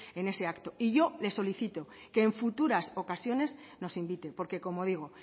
en ese acto y yo le solicito que en futuras ocasiones nos invite porque como digo